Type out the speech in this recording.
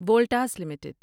Voltas limited